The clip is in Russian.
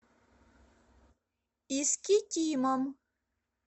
искитимом